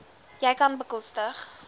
jy kan bekostig